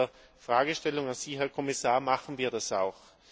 Mit dieser Fragestellung an Sie, Herr Kommissar, machen wir das auch.